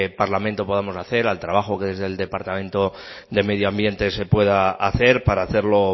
parlamento podamos hacer al trabajo que desde el departamento de medio ambiente se pueda hacer para hacerlo